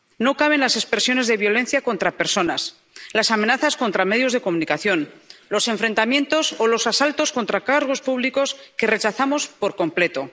No caben las expresiones de violencia contra personas, las amenazas contra medios de comunicación, los enfrentamientos o los asaltos contra cargos públicos, que rechazamos por completo.